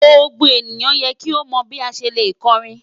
Gbogbo eniyan yẹ ki o mọ bi a ṣe le kọrin